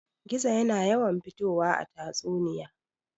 Gizo yana yawan fitowa a tatsuniya.